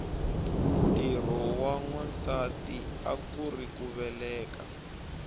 ntirho wa nwasati akuuri ku veleka